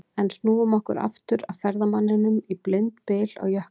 En snúum okkur aftur að ferðamanninum í blindbyl á jökli.